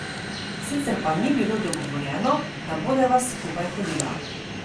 Sicer pa ni bilo dogovorjeno, da bodeva skupaj hodila.